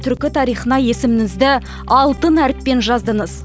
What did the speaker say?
түркі тарихына есіміңізді алтын әріппен жаздыңыз